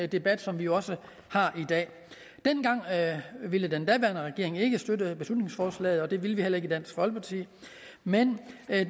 debat som vi også har i dag dengang ville den daværende regering ikke støtte beslutningsforslaget og det ville vi heller ikke i dansk folkeparti men